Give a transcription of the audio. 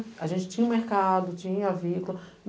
A gente tinha o mercado, tinha a.